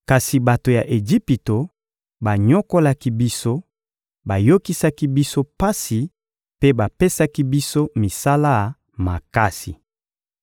Kasi bato ya Ejipito banyokolaki biso, bayokisaki biso pasi mpe bapesaki biso misala makasi.